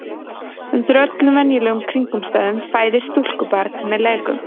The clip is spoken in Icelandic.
undir öllum venjulegum kringumstæðum fæðist stúlkubarn með leggöng